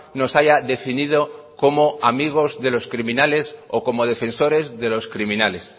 nos haya definido como amigos de los criminales o como defensores de los criminales